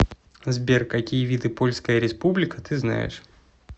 сбер какие виды польская республика ты знаешь